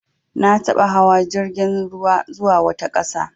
Na taɓa hawa jirgin ruwa zuwa wata ƙasa.